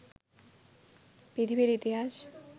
পৃথিবীর ইতিহাস